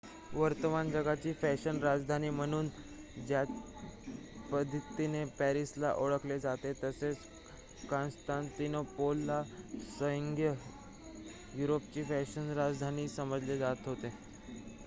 वर्तमान जगाची फॅशन राजधानी म्हणून ज्या पद्धतीने पॅरिसला ओळखले जाते तसे काँस्तानतिनोपलला संघीय युरोपची फॅशन राजधानी समजले जात होते